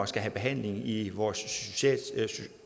skal have behandling i vores